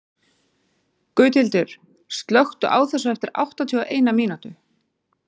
Gauthildur, slökktu á þessu eftir áttatíu og eina mínútur.